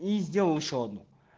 и сделал ещё одну